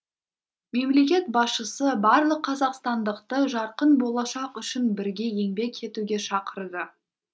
мемлекет басшысы барлық қазақстандықты жарқын болашақ үшін бірге еңбек етуге шақырды